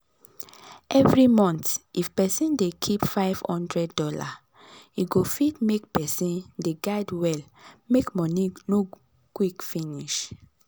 every month if person dey keep five hundred dollars e go fit make person de guide well make money no quick finish.